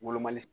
Wolomali